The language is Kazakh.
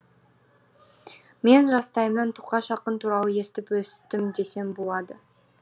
мен жастайымнан тоқаш ақын туралы естіп өстім десем болады